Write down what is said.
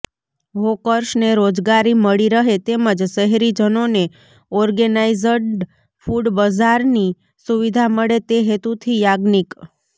હોકર્સને રોજગારી મળી રહે તેમજ શહેરીજનોને ઓર્ગેનાઇઝડ ફૂડ બઝારની સુવિધા મળે તે હેતુથી યાજ્ઞિક